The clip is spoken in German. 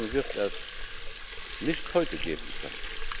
Diese Lösung wird es nicht heute geben können.